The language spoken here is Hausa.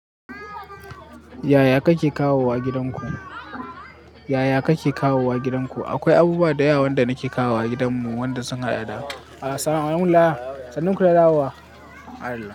Yaya kake kawowa gidanku? Yaya kake kawowa gidanku? Akwai abubuwa da yawa wanda nake kawowa gidanmu wanda sun haɗada. Allah, sannun ku da dawowa. Allah.